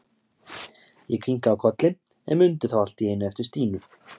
Ég kinkaði kolli, en mundi þá allt í einu eftir Stínu.